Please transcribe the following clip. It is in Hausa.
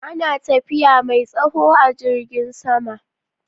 Ana tafiya mai tsawo a jirgin sama